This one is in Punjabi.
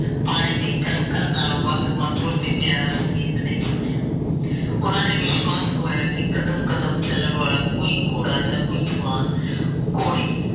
ਪਾਣੀ ਦੀ ਕਲ ਕਲ ਨਾਲੋ ਕੋਈ ਵੱਧ ਪਿਆਰਾ ਸੰਗੀਤ ਨਹੀ ਸੁਣਿਆ ਉਨਾ ਨੇ ਵਿਸ਼ਵਾਸ਼ ਦਵਾਇਆ ਕਿ ਕਦਮ ਕਦਮ ਚੱਲਣ ਵਾਲਾ ਕੋਈ ਵੀ ਘੋੜਾ ਜਾ ਕੋਈ ਜਵਾਨ ਘੋੜੀ